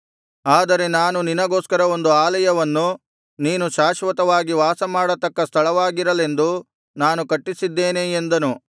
ಆದರೆ ನಾನು ನಿನಗೋಸ್ಕರ ಒಂದು ಆಲಯವನ್ನು ನೀನು ಶಾಶ್ವತವಾಗಿ ವಾಸಮಾಡತಕ್ಕ ಸ್ಥಳವಾಗಿರಲೆಂದು ನಾನು ಕಟ್ಟಿಸಿದ್ದೇನೆ ಎಂದನು